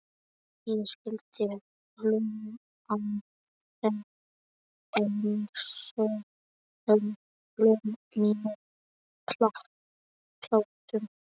Ég skyldi hlú að þér einsog öllum mínum plöntum.